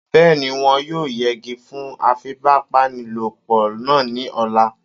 Bẹ́ẹ̀ni, wọ́n yóò yẹgi fún afipábanílòpọ̀ náà ní ọ̀la